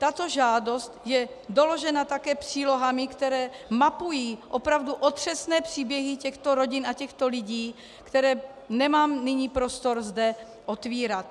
Tato žádost je doložena také přílohami, které mapují opravdu otřesné příběhy těchto rodin a těchto lidí, které nemám nyní prostor zde otvírat.